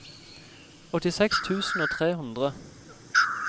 åttiseks tusen og tre hundre